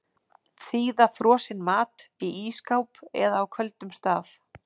Þíða frosinn mat í ísskáp eða á köldum stað.